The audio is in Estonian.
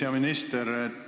Hea minister!